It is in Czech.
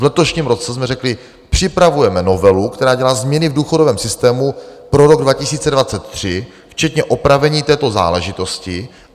V letošním roce jsme řekli, připravujeme novelu, která dělá změny v důchodovém systému pro rok 2023, včetně opravení této záležitosti.